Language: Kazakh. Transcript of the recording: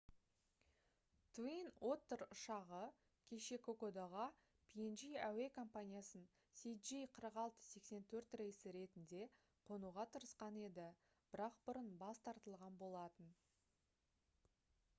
twin otter ұшағы кеше кокодаға png әуе компаниясының cg4684 рейсі ретінде қонуға тырысқан еді бірақ бұрын бас тартылған болатын